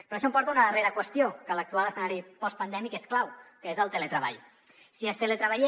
i això em porta a una darrera qüestió que a l’actual escenari postpandèmic és clau que és el teletreball